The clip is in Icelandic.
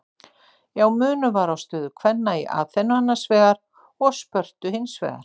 Já, munur var á stöðu kvenna í Aþenu annars vegar og Spörtu hins vegar.